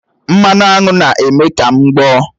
Mmanụ aṅụ na-eme ka m gboọ́